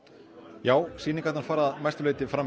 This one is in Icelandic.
já sýningarnar fara að mestu leyti fram